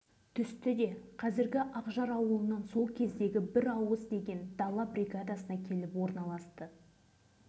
менің білетінім жылдың қазан айының аяғында бір топ әскерлер ертіс өңірі арқылы осы жерге баржамен келіп түсті